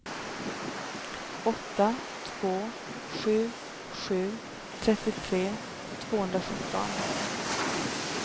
åtta två sju sju trettiotre tvåhundrasjutton